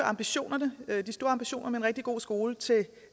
ambitioner om en rigtig god skole til